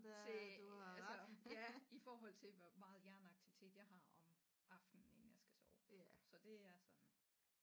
Til altså ja i forhold til hvor meget hjerneaktivitet jeg har om aftenen inden jeg skal sove så det er sådan